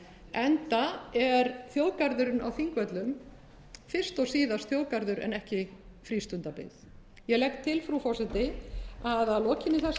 enda er þjóðgarðurinn á þingvöllum fyrst og síðast þjóðgarður en ekki frístundabyggð ég legg til frú forseti að að lokinni þessari